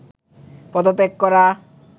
পদত্যাগ করা